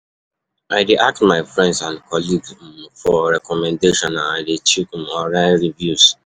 I dey ask my friends and colleagues um for recommendations, and i dey check um online reviews.